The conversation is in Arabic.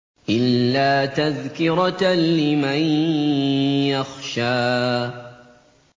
إِلَّا تَذْكِرَةً لِّمَن يَخْشَىٰ